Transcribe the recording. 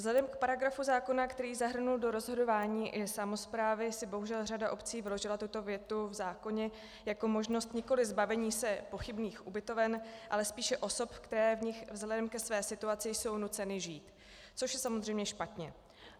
Vzhledem k paragrafu zákona, který zahrnul do rozhodování i samosprávy, si bohužel řada obcí vyložila tuto větu v zákoně jako možnost nikoli zbavení se pochybných ubytoven, ale spíše osob, které v nich vzhledem ke své situaci jsou nuceny žít, což je samozřejmě špatně.